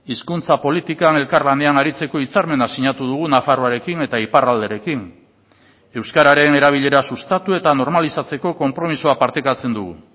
hizkuntza politikan elkarlanean aritzeko hitzarmena sinatu dugu nafarroarekin eta iparralderekin euskararen erabilera sustatu eta normalizatzeko konpromisoa partekatzen dugu